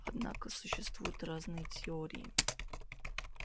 однако существуют разные теории